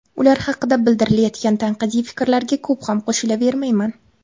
Ular haqida bildirilayotgan tanqidiy fikrlarga ko‘p ham qo‘shilavermayman.